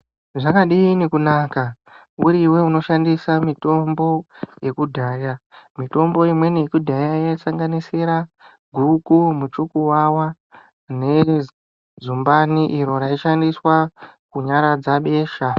Zvakadini kunaka uriwe unoshandisa mitombo yekudhaya. Mitombo imweni yekudhaya yaisanganisira guku, muchukuwawa nezumbani iro raishandiswa kunyaradza besha.